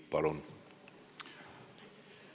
Palun!